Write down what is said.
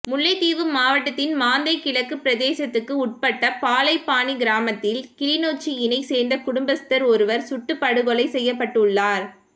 முல்லைத்தீவு மாவட்டத்தின் மாந்தை கிழக்கு பிரதேசத்துக்கு உட்பட்ட பாலைப்பாணி கிராமத்தில் கிளிநொச்சியினை சேர்ந்த குடும்பஸ்தர் ஒருவர் சுட்டுப்படுகொலை செய்யப்பட்டுள்ளார்